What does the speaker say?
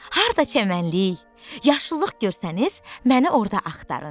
Harda çəmənlik, yaşıllıq görsəniz, məni orda axtarın.